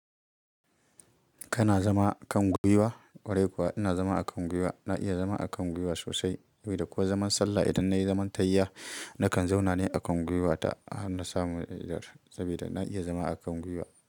Kana zama a Kwiwa? Kwarai kuwa ina zama a gwiwa na iya zama a gwaiwa sosai. Saboda ko zaman sallah idan nayi zaman tahiya nakan zauna ne a gwiwa ta har na samu in idar saboda na iya zama a gwiwa.